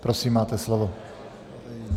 Prosím, máte slovo.